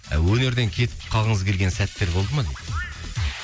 ы өнерден кетіп қалғыңыз келген сәттер болды ма дейді